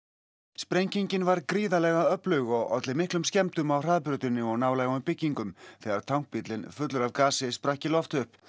sprengingin var gríðarlega öflug og olli miklum skemmdum á hraðbrautinni og nálægum byggingum þegar fullur af gasi sprakk í loft upp